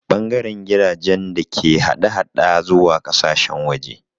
Ɓangaren jiragen da ke hada-hada zuwa ƙasashen waje